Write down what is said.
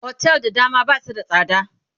otel da dama Basu da tsada